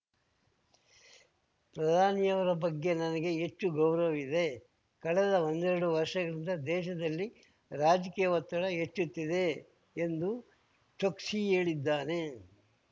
ಪ್ರಧಾನಿ ಅವರ ಬಗ್ಗೆ ನನಗೆ ಹೆಚ್ಚು ಗೌರವವಿದೆ ಕಳೆದ ಒಂದೆರಡು ವರ್ಷಗಳಿಂದ ದೇಶದಲ್ಲಿ ರಾಜಕೀಯ ಒತ್ತಡ ಹೆಚ್ಚುತ್ತಿದೆ ಎಂದೂ ಚೋಕ್ಸಿ ಹೇಳಿದ್ದಾನೆ